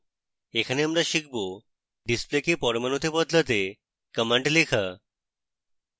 এখানে আমরা শিখব ডিসপ্লেকে পরমাণুতে বদলাতে commands লেখা